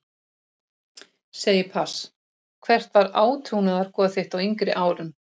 Segi pass Hvert var átrúnaðargoð þitt á yngri árum?